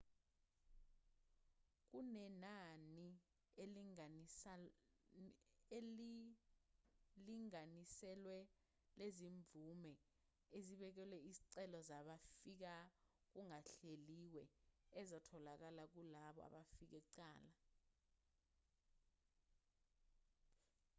kunenani elilinganiselwe lezimvume ezibekelwe izicelo zabafika kungahleliwe ezitholakala kulabo abafike kuqala